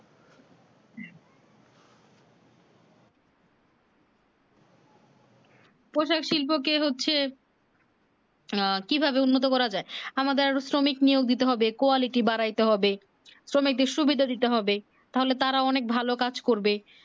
পোশাক শিল্প কে হচ্ছে উম কি ভাবে উন্নীত করা যাই আমাদের শ্রমিক নিয়োজিত হবে quality বাড়াইতে হবে শ্রমিকদের সুবিধা দিতে হবে তাহলে তারা অনেক ভালো কাজ করবে